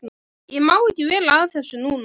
Ég má ekki vera að þessu núna.